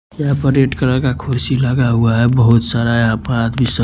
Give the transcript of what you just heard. यहाँ पर red colour का खुर्सी लगा हुआ है बहुत सारा यहाँ पर आदमी--